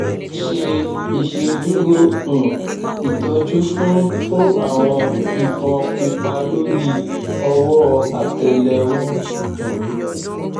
ṣe iṣeduro um itọju fun fun awọn ifon pupa lori ọwọ àtẹlẹwọ um